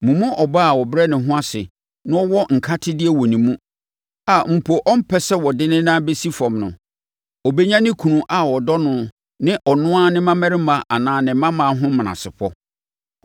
Mo mu ɔbaa a ɔbrɛ ne ho ase na ɔwɔ nkatedeɛ wɔ ne mu, a mpo ɔmpɛ sɛ ɔde ne nan bɛsi fam no, ɔbɛnya ne kunu a ɔdɔ no ne ɔno ara ne mmammarima anaa ne mmammaa ho menasepɔ.